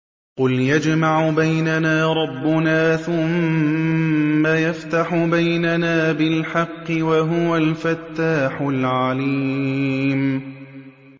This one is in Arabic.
قُلْ يَجْمَعُ بَيْنَنَا رَبُّنَا ثُمَّ يَفْتَحُ بَيْنَنَا بِالْحَقِّ وَهُوَ الْفَتَّاحُ الْعَلِيمُ